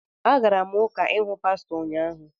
Agara m Ụka ịhụ pastọ ụnyaahụ